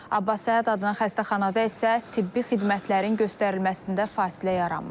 Abbas Səhət adına xəstəxanada isə tibbi xidmətlərin göstərilməsində fasilə yaranmayıb.